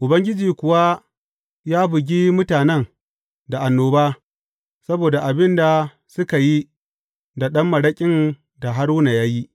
Ubangiji kuwa ya bugi mutanen da annoba, saboda abin da suka yi da ɗan maraƙin da Haruna ya yi.